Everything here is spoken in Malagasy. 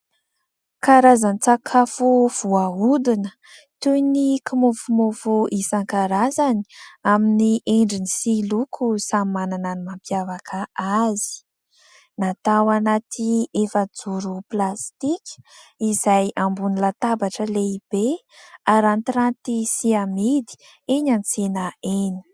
Karazan-tsakafo voahodina toy ny kimofomofo isankarazany amin'ny endriny sy loko samy manana ny mampiavaka azy; natao anaty efa-joro plastika izay ambony latabatra lehibe arantiranty sy amidy eny an-tsena eny.